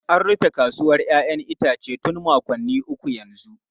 An rufe kasuwar 'ya'yan itace tun makonni uku yanzu.